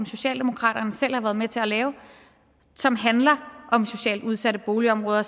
socialdemokraterne selv har været med til at lave som handler om socialt udsatte boligområder